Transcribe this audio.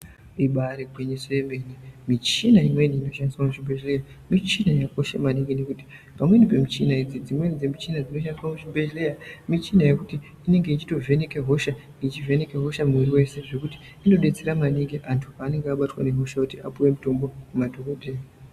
Ibari gwinyiso emene michina imweni inoshandiswa muzvibhedhleya michina yakakosha maningi nekuti pamweni pemichina idzi, dzimweni dzemichina dzinoshandiswa kuzvibhedhleya michina yekuti inenge ichitovheneka hosha, ichivhenekwa hosha mwiri weshe zvekuti inobetsera maningi antu panenge abatwa nehosha apiwe mitombo nemadhokodhaya